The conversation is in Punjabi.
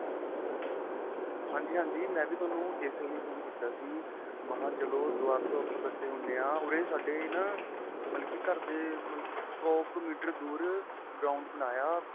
ਹਾਂਜੀ ਹਾਂਜੀ ਮੈਂਵੀ ਤੁਹਾਨੂੰ ਏਸੇ ਲਈ ਫੋਨ ਕੀਤਾ ਸੀ ਮਹਾਂ ਚਲੋ ਦੁਆਰ ਤੋ ਆਪਾਂ ਇੱਕਠੇ ਹੁੰਦੇ ਆਂ ਉਰੇ ਸਾਡੇ ਨਾਂ ਮਤਲਬ ਕੀ ਘਰ ਦੇ ਸ਼ੋ ਕ਼ ਮੀਟਰ ਦੂਰ ground ਬਣਾਇਆ